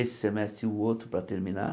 Esse semestre e o outro para terminar.